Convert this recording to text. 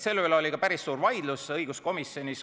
Selle üle oli ka päris suur vaidlus õiguskomisjonis.